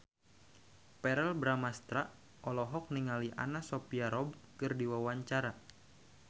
Verrell Bramastra olohok ningali Anna Sophia Robb keur diwawancara